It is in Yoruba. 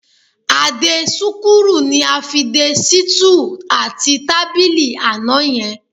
A-dé-súkúrù ni a fi de sítúù àti tábìlì àná yẹn